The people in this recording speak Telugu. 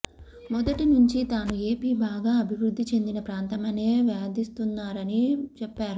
మొదటి నుంచీ తాను ఏపీ బాగా అభివృద్ధి చెందిన ప్రాంతమనే వాదిస్తున్నానని చెప్పారు